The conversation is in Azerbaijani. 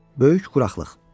Böyük quraqlıq.